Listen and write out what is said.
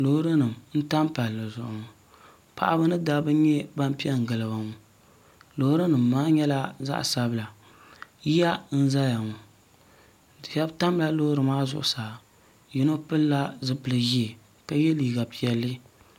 lorinim tami pali zuɣ ŋɔ paɣ' ba ni da ba pɛngiliba ŋɔ lorinim maa nyɛla zaɣ sabila yiya n zaya ŋɔ shɛbi tamila lori maa zuɣ saa yino pɛlola zupɛli ʒiɛ ka yɛ liga piɛli